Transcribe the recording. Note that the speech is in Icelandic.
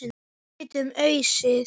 Við getum ausið.